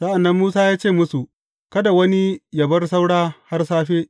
Sa’an nan Musa ya ce musu, Kada wani yă bar saura har safe.